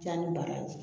Can ni baraji